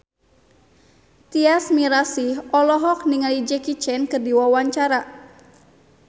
Tyas Mirasih olohok ningali Jackie Chan keur diwawancara